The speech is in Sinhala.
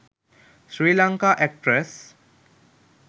srilanka actress